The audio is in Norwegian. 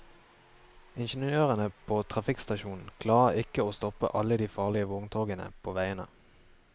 Ingeniørene på trafikkstasjonen klarer ikke å stoppe alle de farlige vogntogene på veiene.